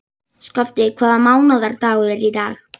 Skafti, hvaða mánaðardagur er í dag?